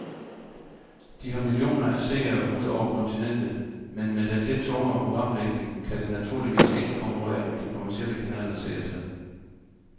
De har millioner af seere ud over kontinentet, men med den lidt tungere programlægning kan det naturligvis ikke konkurrere med de kommercielle kanalers seertal.